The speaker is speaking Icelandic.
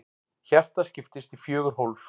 Hjartað skiptist í fjögur hólf.